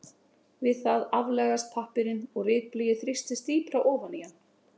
Við það aflagast pappírinn og ritblýið þrýstist dýpra ofan í hann.